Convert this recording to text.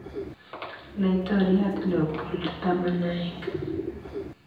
Laitoriat Leopold 11.